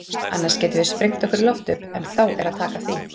Auðvitað getum við sprengt okkur í loft upp, en þá er að taka því.